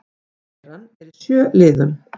Kæran er í sjö liðum